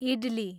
idli